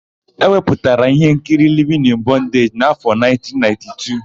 E wepụtara íhénkiri Livin ịn Bọndeji n'áfọ̀1992.